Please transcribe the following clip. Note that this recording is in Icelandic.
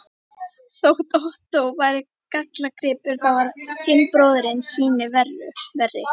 Þótt Ottó væri gallagripur, þá var hinn bróðirinn sýnu verri.